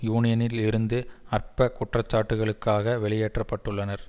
யூனியனில் இருந்து அற்ப குற்றச்சாட்டுக்களுக்காக வெளியேற்றப்பட்டுள்ளனர்